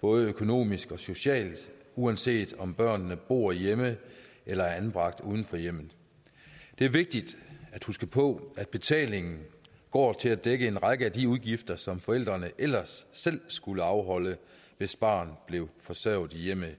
både økonomisk og socialt uanset om børnene bor hjemme eller er anbragt uden for hjemmet det er vigtigt at huske på at betalingen går til at dække en række af de udgifter som forældrene ellers selv skulle afholde hvis barnet blev forsørget i hjemmet